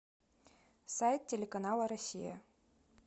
сайт телеканала россия